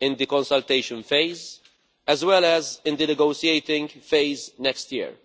in the consultation phase, as well as in the negotiating phase next year.